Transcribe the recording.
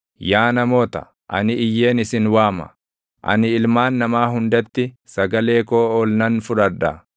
“Yaa namoota, ani iyyeen isin waama; ani ilmaan namaa hundatti sagalee koo ol nan fudhadha.